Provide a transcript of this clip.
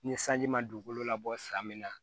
Ni sanji ma dugukolo labɔ san min na